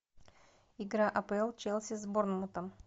игра апл челси с борнмутом